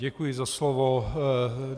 Děkuji za slovo.